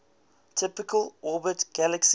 typically orbit galaxies